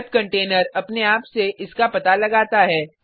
web container अपने आप से इसका पता लगता है